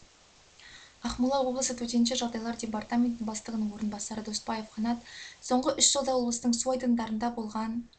ақмола облысы төтенше жағдайлар департаменті бастығының орынбасары доспаев қанат соңғы үш жылда облыстың су айдындарында болған